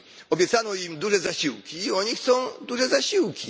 Obiecano im duże zasiłki i oni chcą duże zasiłki.